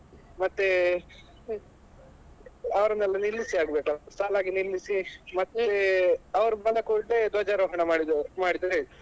ಮತ್ತೆ ಅವ್ರನ್ನೆಲ್ಲಾ ನಿಲ್ಲಿಸಿ ಆಗ್ಬೇಕಲ್ಲ ಸಾಲಾಗಿ ನಿಲ್ಲಿಸಿ ಮತ್ತೆ ಅವ್ರು ಬಂದ ಕೂಡ್ಲೇ ಧ್ವಜಾರೋಹಣ ಮಾಡಿ~ ಮಾಡಿದ್ರಾಯ್ತು.